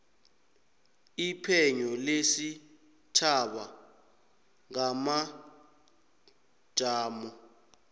iphenyo lesitjhaba ngamajamo